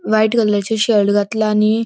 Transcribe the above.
व्हाइट कलराचे शर्ट घातला आणि --